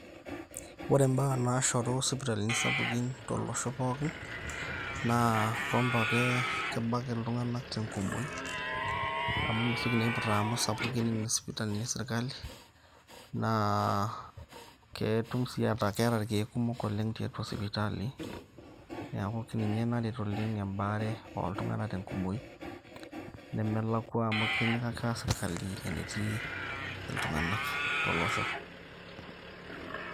ore baa naashoru isipitalini sapukin tolosho pookin naa kumbe ake kebak iltunganak tenkumoi, amu mesioki naa aiputa amu isapukin isipitalini esirkali, naa ketum sii ataa keeta irkeek kumok oleng tiatua sipitali. neeku ninye naret oleng ebaare ooltunganak te nkumoi .nemelakua amu itinyikaka sirkali iltunganak te nkumoi tolosho.